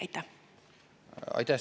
Aitäh!